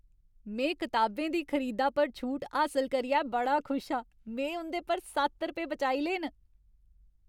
में किताबें दी खरीदा पर छूट हासल करियै बड़ा खुश हा। में उं'दे पर सत्त रपेऽ बचाई ले न!